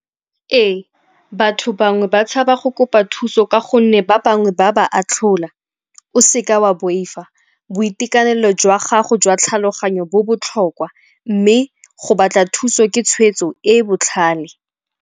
Ee, batho bangwe ba tshaba go kopa thuso ka gonne ba bangwe ba ba atlhola. O seka wa boifa, boitekanelo jwa gago jwa tlhaloganyo bo botlhokwa mme go batla thuso ke tshwetso e e botlhale.